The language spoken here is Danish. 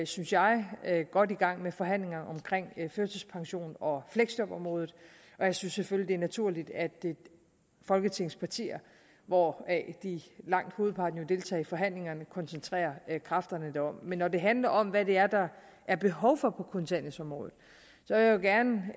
synes jeg jeg godt i gang med forhandlingerne om førtidspensionen og fleksjobområdet og jeg synes selvfølgelig det er naturligt at folketingets partier hvoraf langt hovedparten jo deltager i forhandlingerne koncentrerer kræfterne derom men når det handler om hvad det er der er behov for på kontanthjælpsområdet vil jeg gerne